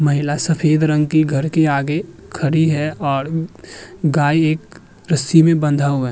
महिला सफेद रंग की घर के आगे खड़ी है और गाय एक रस्सी में बंधा हुआ --